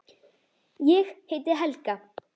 Ég heiti Helga!